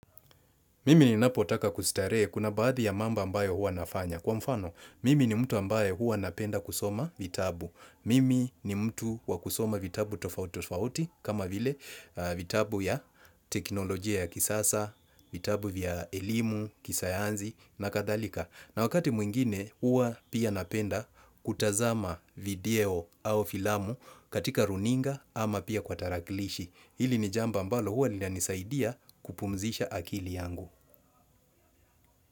Mimi ni napotaka kustarehe kuna baadhi ya mambo ambayo huwa nafanya. Kwa mfano, mimi ni mtu ambaye huwa napenda kusoma vitabu. Mimi ni mtu wa kusoma vitabu tofauti tofauti kama vile vitabu ya teknolojia ya kisasa, vitabu vya elimu, kisayansi na kadhalika. Na wakati mwingine huwa pia napenda kutazama video au filamu katika runinga ama pia kwa tarakilishi. Hili ni jambo mbalo huwa linanisaidia kupumzisha akili yangu.